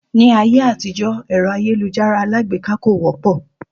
Ní ayé àtijọ́ èrò àyélujárá alágbèká kò wọ́pọ̀